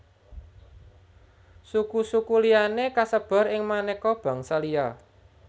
Suku suku liyané kasebar ing manéka bangsa liya